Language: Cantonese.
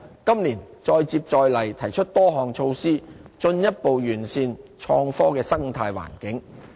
今年再接再厲，提出多項措施，進一步完善創科的生態環境。